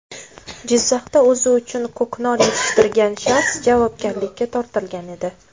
Jizzaxda o‘zi uchun ko‘knor yetishtirgan shaxs javobgarlikka tortilgan edi.